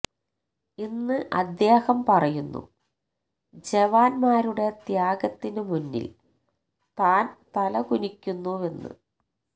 ഇന്ന് അദ്ദേഹം പറയുന്നു ജവാന്മാരുടെ ത്യാഗത്തിന് മുന്നിൽ താൻ തലകുനിക്കുന്നുവെന്ന്